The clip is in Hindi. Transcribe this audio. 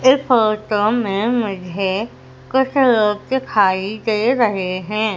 इस फोटो में मुझे कुछ लोग दिखाई दे रहे हैं।